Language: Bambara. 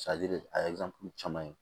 de a ye caman ye